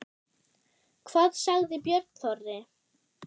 Hvað sagði Björn Þorri?